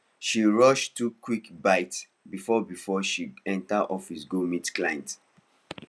she rush two quick bites before before she enter office go meet client